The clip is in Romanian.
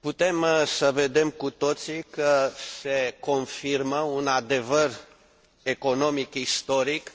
Putem să vedem cu toții că se confirmă un adevăr economic istoric, și